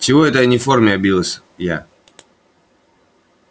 чего это я не в форме обиделась я